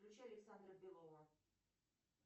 включи александра белова